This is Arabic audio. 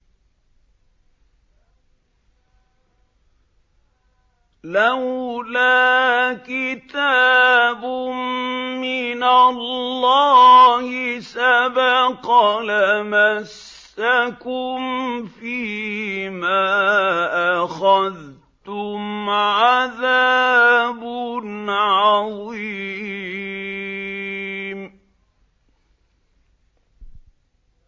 لَّوْلَا كِتَابٌ مِّنَ اللَّهِ سَبَقَ لَمَسَّكُمْ فِيمَا أَخَذْتُمْ عَذَابٌ عَظِيمٌ